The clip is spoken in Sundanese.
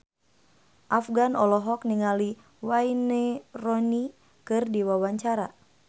Afgan olohok ningali Wayne Rooney keur diwawancara